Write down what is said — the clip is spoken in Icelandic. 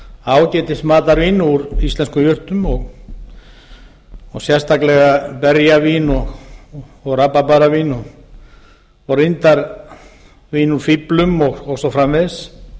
ágætis matarvín úr íslenskum jurtum og sérstaklega berjavín og rabarbaravín og reyndar vín úr fíflum og svo framvegis